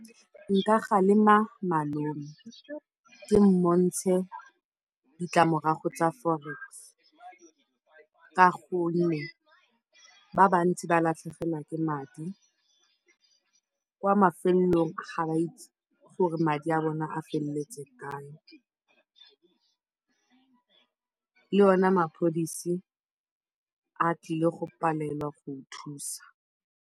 Nka kgalema malome ke mo bontshe ditlamorago tsa Forex ka gonne ba bantsi ba latlhegelwa ke madi, kwa mafelelong ga ba itse gore madi a bone a feleletse kae, le ona mapodisi a tlile go palelwa go go thusa.